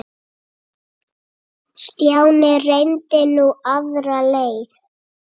Stjáni reyndi nú aðra leið.